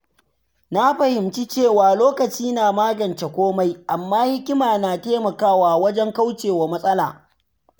Na fahimci cewa lokaci na magance komai, amma hikima na taimakawa wajen kaucewa matsala.